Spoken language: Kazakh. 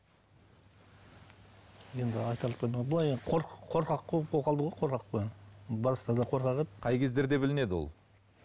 қорқақ еді қай кездерде білінеді ол